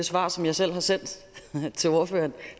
svar som jeg selv har sendt til ordføreren